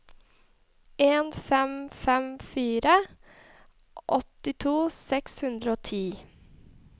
en fem fem fire åttito seks hundre og ti